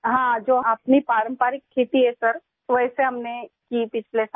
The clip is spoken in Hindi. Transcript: हाँ जो अपनी पारंपरिक खेती है सर वैसे हमने की पिछले साल